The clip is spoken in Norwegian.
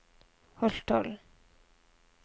Holtålen